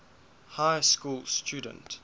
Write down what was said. high school student